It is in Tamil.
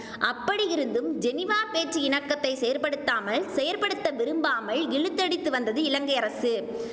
அப்படியிருந்தும் ஜெனீவா பேச்சு இணக்கத்தை செயற்படுத்தாமல் செயற்படுத்த விரும்பாமல் இழுத்தடித்து வந்தது இலங்கை அரசு